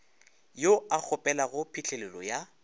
yo a kgopelago phihlelelo ya